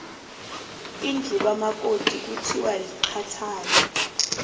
indlu kamakoti kuthiwa liqathana